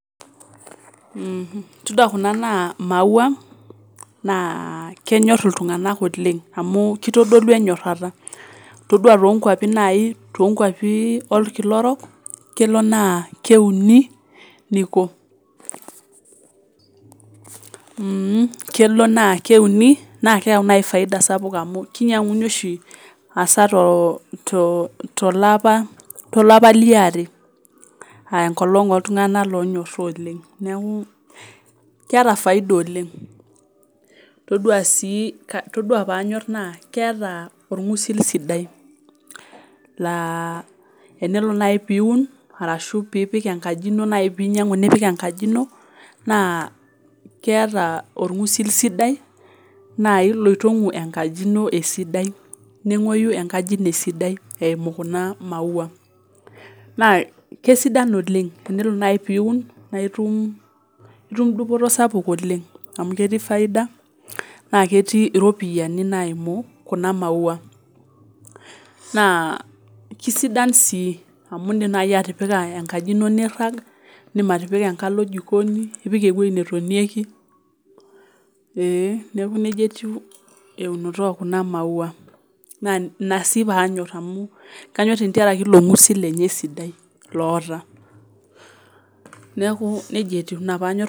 Mmh todua kuna naa imaua naa kenyorr iltung'anak oleng amu kitodolu enyorrata todua tonkuapi naai tonkuapi olkila orok kelo naa keuni niko mh kelo naa keuni naa keyau naai faida sapuk amu kinyiang'uni oshi asaa to to tolapa tolapa liare uh enkolong oltung'anak lonyorra oleng neeku keeta faida oleng todua sii todua paanyorr naa keeta orng'usil sidai laa enelo naai piun arashu piipik enkaji ino naai pinyiang'u nipik enkaji ino naa keeta orng'usil sidai naai loitong'u enkaji ino esidai neng'oyu enkaji ino esidai eimu kuna maua naa kesidan oleng enelo naai piun naa itum, itum dupoto sapuk oleng amu ketii faida naa ketii iropiyiani naimu kuna maua naa kisidan sii amu indim naai atipika enkaji ino nirrag indim atipika enkalo jikoni ipik ewoi netonieki eh neeku nejia etiu eunoto okuna maua naa ina sii paanyorr amu kanyorr entiarake ilo ng'usil lenye sidai loota neeku nejia etiu ina paanyorr.